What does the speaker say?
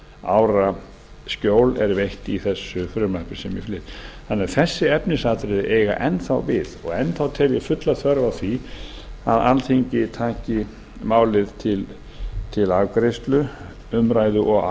ára skjól er veitt í þessu frumvarpi sem ég flyt þessi efnisatriði eiga enn þá við og enn þá tel ég fulla þörf á því að alþingi taki málið til umræðu og